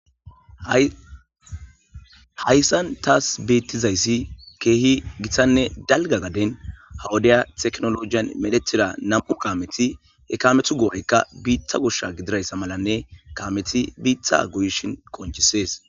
hayssan taas beettizayssi keehi gitanne dalga gaden ha wodiya teknolojiyan medhetira nam7u kaameti he kametu goorekka biitha goshsha gidirayssa malanne kameti biitha goyishin qonchisees